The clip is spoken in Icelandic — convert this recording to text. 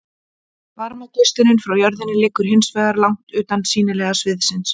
varmageislunin frá jörðinni liggur hins vegar langt utan sýnilega sviðsins